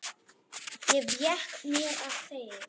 Ég vék mér að þeim.